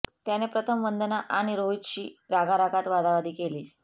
त्याने प्रथम वंदना आणि रोहितशी रागारागात वादावादी केली